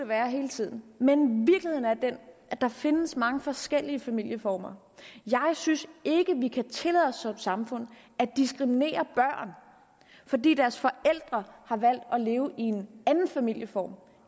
være hele tiden men virkeligheden er den at der findes mange forskellige familieformer jeg synes ikke vi kan tillade os som samfund at diskriminere børn fordi deres forældre har valgt at leve i en anden familieform